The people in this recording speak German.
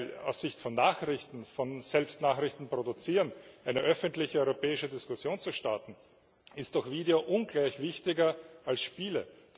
Denn aus Sicht von Nachrichten, davon, selbst Nachrichten zu produzieren, eine öffentliche europäische Diskussion zu starten, ist doch Video ungleich wichtiger als Spiele.